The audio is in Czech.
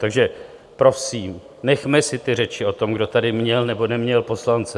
Takže prosím, nechme si ty řeči o tom, kdo tady měl nebo neměl poslance.